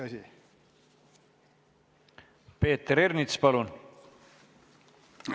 Peeter Ernits, palun!